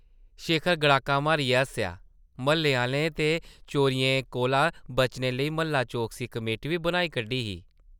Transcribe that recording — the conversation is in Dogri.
शेखर गड़ाका मारियै हस्सेआ, म्हल्ले आह्लें ते चोरियें कोला बचने लेई म्हल्ला-चौकसी कमेटी बी बनाई कड्ढी ही ।